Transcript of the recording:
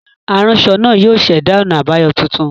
Aranṣọ naa yóò ṣẹda ọna abayọ tuntun.